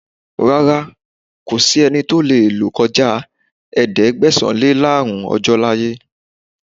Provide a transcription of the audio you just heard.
Rárá, kò sí ẹnì tí ó lè lò kọjá Ẹ̀ẹ́dẹ̀gbẹ̀sán-lé-láàọ́rùn ọjọ́ láyé.